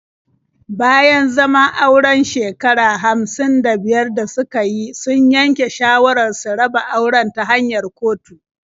Bayan zaman auren shekara hamsin da biyar da suka yi, sun yanke shawarar su raba auren ta hanyar kotu.